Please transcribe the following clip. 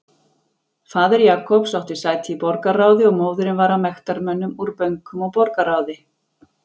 Faðir Jacobs átti sæti í borgarráði og móðirin var af mektarmönnum úr bönkum og borgarráði.